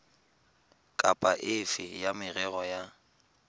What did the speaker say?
kapa efe ya merero ya